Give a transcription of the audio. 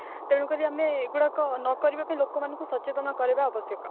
ତେଣୁକରି ଆମେ ଏଗୁଡାକ ନକରିବାକୁ ଲୋକମାନଙ୍କୁ ସଚେତନ କରାଇବା ଆବଶ୍ୟକ